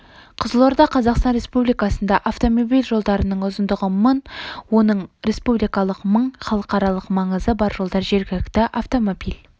қызылорда қазақстан республикасында автомобиль жолдарының ұзындығы мың оның республикалық мың халықаралық маңызы бар жолдар жергілікті автомобиль